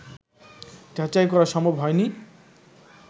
যাচাই করা সম্ভব হয়নি